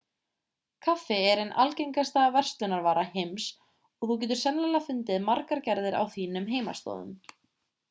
kaffi er ein algengasta verslunarvara heims og þú getur sennilega fundið margar gerðir á þínum heimaslóðum